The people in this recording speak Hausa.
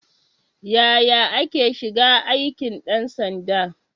Yaya ake shiga aikin ɗan sanda?